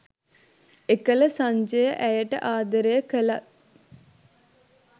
එකල සංජය ඇයට ආදරය කළත්